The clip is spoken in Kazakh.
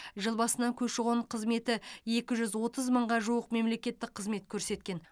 жыл басынан көші қон қызметі екі жүз отыз мыңға жуық мемлекеттік қызмет көрсеткен